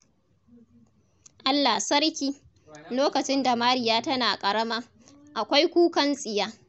Allah sarki. Lokacin da Mariya tana ƙarama, akwai kukan tsiya!